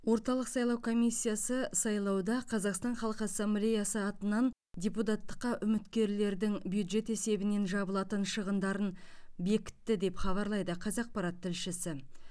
орталық сайлау комиссиясы сайлауда қазақстан халқы ассамблеясы атынан депутаттыққа үміткерлердің бюджет есебінен жабылатын шығындарын бекітті деп хабарлайды қазақпарат тілшісі